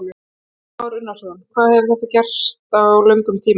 Kristján Már Unnarsson: Hvað hefur þetta gerst á löngum tíma?